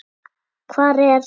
Hvar er